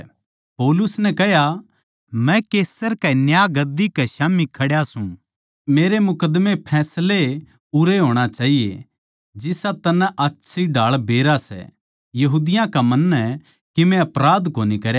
पौलुस नै कह्या मै कैसर कै न्यायगद्दी कै स्याम्ही खड्या सूं मेरै मुकद्दमे फैसला उरैए होणा चाहिये जिसा तन्नै आच्छी ढाळ बेरा सै यहूदियाँ का मन्नै कीमे अपराध कोनी करया